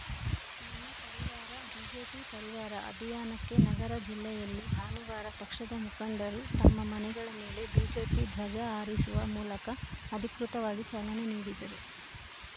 ನನ್ನ ಪರಿವಾರಬಿಜೆಪಿ ಪರಿವಾರ ಅಭಿಯಾನಕ್ಕೆ ನಗರ ಜಿಲ್ಲೆಯಲ್ಲಿ ಭಾನುವಾರ ಪಕ್ಷದ ಮುಖಂಡರು ತಮ್ಮ ಮನೆಗಳ ಮೇಲೆ ಬಿಜೆಪಿ ಧ್ವಜ ಹಾರಿಸುವ ಮೂಲಕ ಅಧಿಕೃತವಾಗಿ ಚಾಲನೆ ನೀಡಿದರು